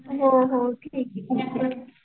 हो हो ठीक आहे.